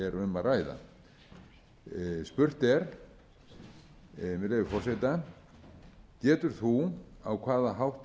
að ræða með leyfi forseta spurning getur þú á hvaða hátt